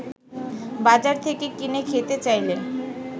বাজার থেকে কিনে খেতে চাইলে